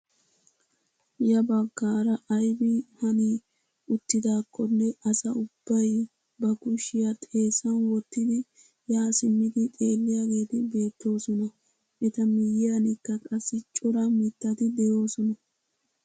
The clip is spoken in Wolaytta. Ya baggaara aybi hani uttidaakkonne asa ubbay ba kushshiyaa xeessan wottidi yaa simmidi xeelliyaageti beettoosona. eta miyiyaanikka qassi cora mittati de'oosona.